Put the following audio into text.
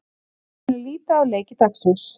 Við skulum líta á leiki dagsins.